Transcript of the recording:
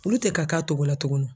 Olu tɛ ka k'a togo la tuguni.